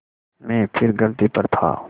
मैं फिर गलती पर था